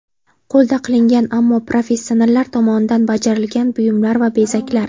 Qo‘lda qilingan, ammo professionallar tomonidan bajarilgan buyumlar va bezaklar.